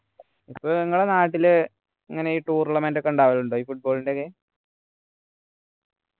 പ്പോ നിങ്ങളെ നാട്ടിലെ ഇങ്ങനെ ഈ tournament ഒക്കെ ഉണ്ടാവാറുണ്ടോ football ൻ്റെ ഒക്കെ